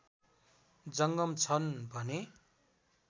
जङ्गम छन् भने